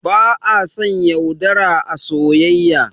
Ba a son yaudara a soyayya